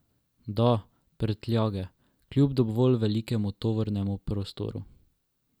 Da, prtljage, kljub dovolj velikemu tovornemu prostoru!